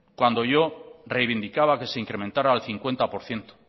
cuando yo reivindicaba que se incrementara al cincuenta por ciento